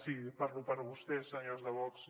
sí parlo per vostès senyors de vox